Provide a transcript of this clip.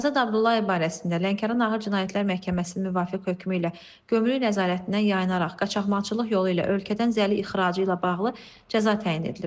Azad Abdullayev barəsində Lənkəran Ağır Cinayətlər Məhkəməsinin müvafiq hökmü ilə gömrük nəzarətindən yayınaraq qaçaqmalçılıq yolu ilə ölkədən zəli ixracı ilə bağlı cəza təyin edilib.